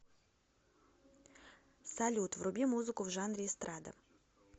салют вруби музыку в жанре эстрада